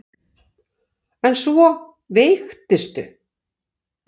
En svo veiktistu.